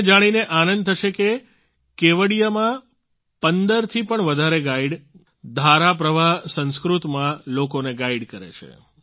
તમને જાણીને આનંદ થશે કે કેવડિયામાં 15 થી પણ વધારે ગાઈડ ધારા પ્રવાહ સંસ્કૃતમાં લોકોને ગાઈડ કરે છે